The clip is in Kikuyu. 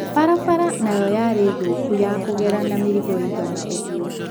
Barabara nayo yarĩ thũkũ ya kũgera na mĩrigo ĩigana ũgũo.